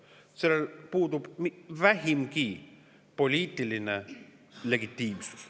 Niisugusel aktsioonil puudub vähimgi poliitiline legitiimsus.